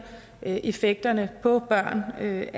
effekterne på børn af